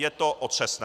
Je to otřesné.